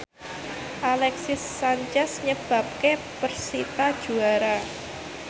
Alexis Sanchez nyebabke persita juara